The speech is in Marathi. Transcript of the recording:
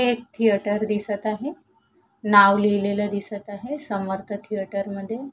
थिएटर दिसत आहे नाव लिहलेल दिसत आहे समर्थ थिएटर मध्ये --